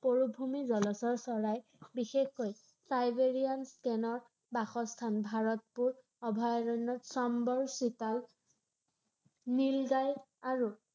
পৰিভ্ৰমী জলচৰ চৰাই বিশেষকৈ চাইবেৰিয়ান ক্ৰেনৰ বাসস্থান ৷ ভাৰতপুৰ অভয়াৰণ্যত চম্বৰ চিতাল নীল গাই আৰু